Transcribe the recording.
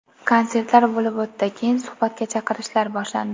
Konsertlar bo‘lib o‘tdi, keyin suhbatga chaqirishlar boshlandi.